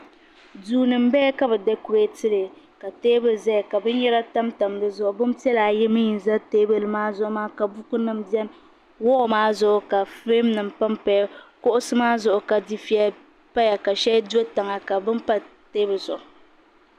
Duu ni n bala ka bi dakorɛɛti li ka teebuli zaya ka bini yara tam tam di zuɣu bin piɛlla ayi mi n za teebuli zuɣu maa ka buku nima bɛni wɔl maa zuɣu ka firɛm nima pam paya kuɣusi maa zuɣu ka difiɛya paya ka sheli do tiŋa ka bini pa teebuli zuɣu.